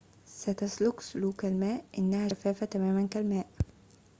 ستسلك سلوك الماء إنها شفافة تماماً كالماء